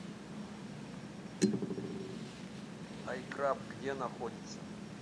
айкраб где находится